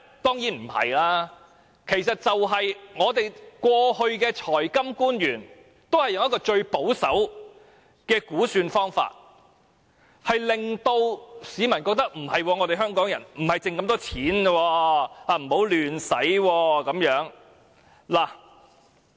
當然不是，其實只是過去的財金官員都使用了最保守的估算方法，令市民以為香港沒有那麼多盈餘，不宜亂花錢。